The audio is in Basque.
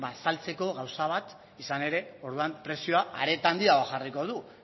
ba saltzeko gauza bat izan ere orduan prezioa are eta handiagoa jarriko du